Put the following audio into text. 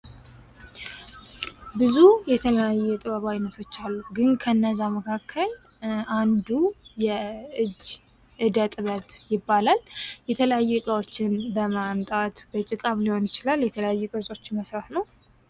ብዙ የተለያዩ የጥበብ አይነቶች አሉ ፤ግን ከነዛ መካከል አንዱ የእጅ ዕደ ጥበብ ይባላል። የተለያዩ እቃዎችን በማምጣት በጭቃም ሊሆን ይችላል የተለያዩ ቅርጾችን መሥራት ነው።